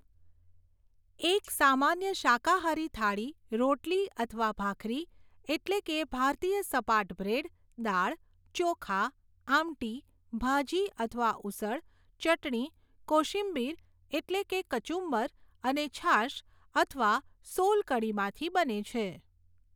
એક સામાન્ય શાકાહારી થાળી રોટલી અથવા ભાખરી, એટલે કે ભારતીય સપાટ બ્રેડ, દાળ, ચોખા, આમટી, ભાજી અથવા ઉસળ, ચટણી, કોશિંબીર, એટલે કે કચુંબર અને છાશ અથવા સોલ કઢીમાંથી બને છે.